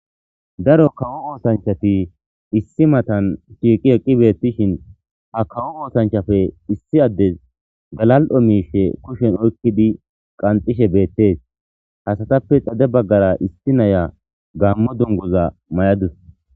Daro kawo oosanchati issi matan shiiqi eqqibeettishin ha kawo oosanchafe issi addes galal7o miishe kushen oykkidi qanxishe beettees hasatappe xade baggara isti naya gammo dungoza may7adus.